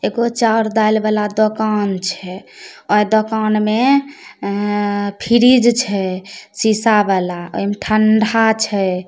एगो चोअर दाल बला दोकान छै ओय दोकान मे फ्रिज छै शीशा वाला ओय मे ठंडा छै।